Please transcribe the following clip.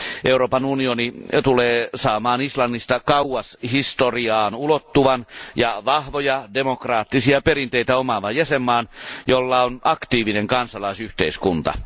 Euroopan unioni tulee saamaan Islannista kauas historiaan ulottuvan ja vahvoja demokraattisia perinteitä omaavan jäsenvaltion, jolla on aktiivinen kansalaisyhteiskunta.